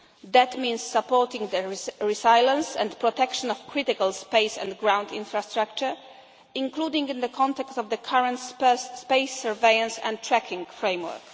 space. This means supporting the resilience and protection of critical space and ground infrastructure, including in the context of the current space surveillance and tracking framework.